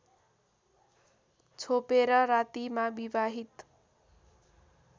छोपेर रातिमा विवाहित